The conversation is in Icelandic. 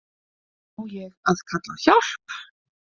Á ég að kalla á hjálp?